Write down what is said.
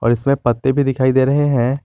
इसमे पत्ते भी दिखाई दे रहे है।